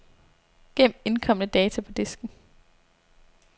Gem indkomne data på disken.